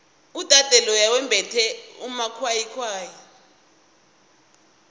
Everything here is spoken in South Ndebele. udade loya wembethe amakwayikwayi